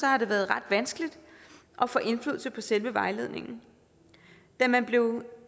har det været ret vanskeligt at få indflydelse på selve vejledningen da man blev